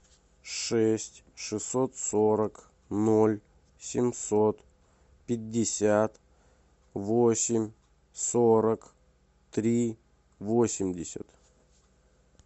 шесть шестьсот сорок ноль семьсот пятьдесят восемь сорок три восемьдесят